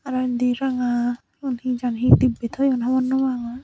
aro endi ranga cigun he jani he dibbe toyon hobor nopangor.